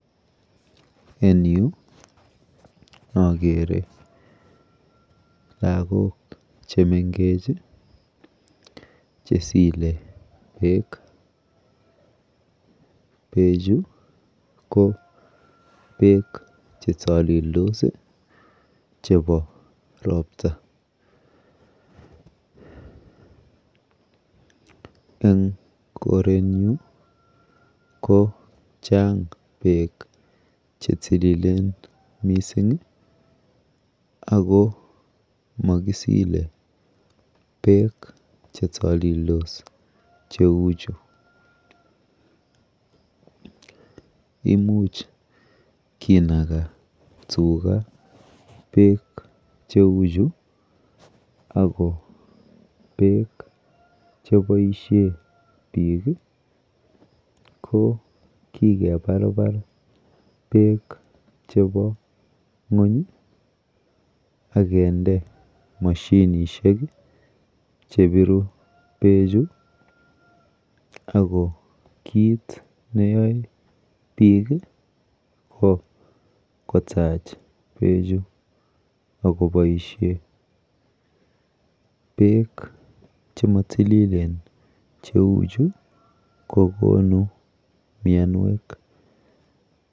En yu akere lagok chemenkech chesile beek. Beechu ko beek chetalildos chepo ropta. Eng korenyu kochang beek chetililen mising ako mokisile beek chetalildos cheuchu. Imuch kinaga tuga beek cheuchu ako beek cheboishe biik ko kikeparpar beek chepo ng'uny akinde mashinishek chepiru beechu ako kit neyoe biik ko kotach beechu akoboishe. Beek chematililen cheuchu kokonu mianwek.